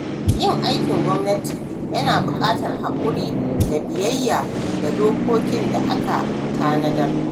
Yin aikin gwamnati yana buƙatar haƙuri da biyayya ga dokokin da aka tanada.